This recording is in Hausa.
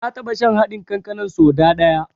Na taɓa shan haɗin kankanan so da ɗaya.